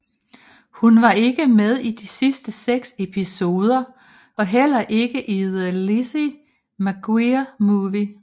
Hun var ikke med i de sidste seks episoder og heller ikke i The Lizzie McGuire Movie